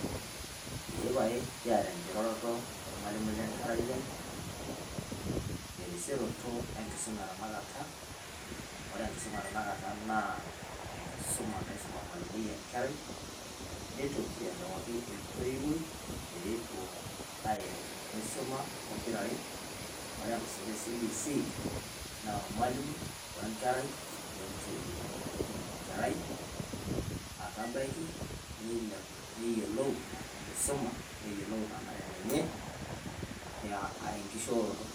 ee pae, kiata enkiroroto ormaliui le nkerai aii, terisioroto enkisuma e tanakata, amu ore enkisuma tanakata naa enkisuma naisum ormalimui enkerai, neitoki airiwaki entoiwuoi pee epuo airo, nisuma pokira are, ore enkisuma e cbc enkerai, ormalimui, we ntoiwuoi. pee etum enkerai, atabaiki nilipu, enkisuma neyiolou enkishooroto.